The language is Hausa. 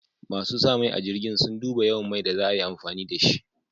Masu sa mai a jirgin, sun duba yawan mai da za a yi amfani da shi.